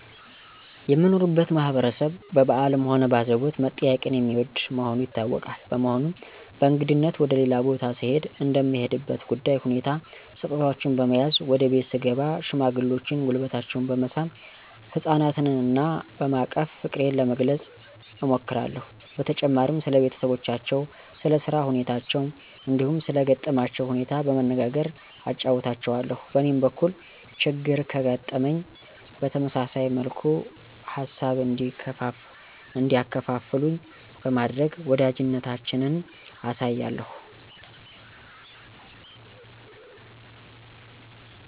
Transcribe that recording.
የምኖርበት ማህበረሰብ በበአልም ሆነ በአዘቦት መጠያየቅን የሚወድ መሆኑ ይታወቃል። በመሆኑም በእንግድነት ወደ ሌላ ቤት ስሄድ እንደምሄድበት ጉዳይ ሁኔታ ስጦታወችን በመያዝ ወደ ቤት ስገባ ሽማግሌዎችን ጉልበታቸውን በመሳም፣ ህጻናትና በማቀፍ ፍቅሬን ለመግለጽ እሞክራለሁ። በተጨማሪም ስለ ቤተሰባቸው፣ ስለ ስራ ሁኔታቸው እንዲሁም ሰለ ገጠማቸው ሁኔታ በመነጋገር አጫዉታቸዋለሁ። በእኔም በኩል ችግር ከገጠመኝ በተመሳሳይ መልኩ ሃሳብ እንዲያካፍሉኝ በማድረግ ወዳጅነታችንን አሳያለሁ።